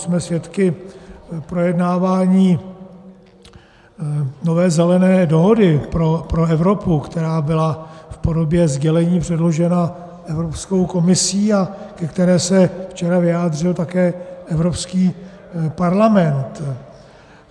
Jsme svědky projednávání nové Zelené dohody pro Evropu, která byla v podobě sdělení předložena Evropskou komisí a ke které se včera vyjádřil také Evropský parlament.